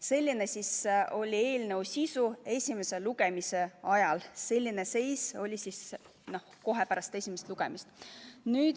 Selline siis oli eelnõu sisu esimese lugemise ajal ja ka pärast esimest lugemist.